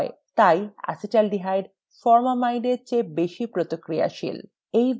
তাই acetaldehyde formamide এর চেয়ে বেশি প্রতিক্রিয়াশীল